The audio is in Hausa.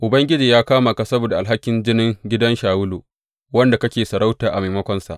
Ubangiji ya kama ka saboda alhakin jinin gidan Shawulu, wanda kake sarauta a maimakonsa.